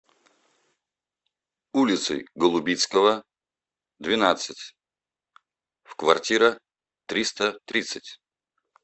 улицей голубицкого двенадцать в квартира триста тридцать